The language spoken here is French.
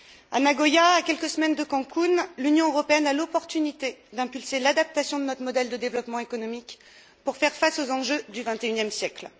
À Nagoya, à quelques semaines de Cancún, l'Union européenne a l'opportunité d'impulser l'adaptation de notre modèle de développement économique pour faire face aux enjeux du XXIe siècle.